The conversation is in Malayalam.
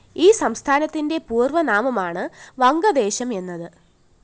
ഈ സംസ്ഥാനത്തിന്റെ പൂര്‍വനാമമാണ് വംഗദേശം എന്നത്